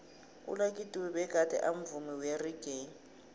ulucky dube begade amvumi weraggae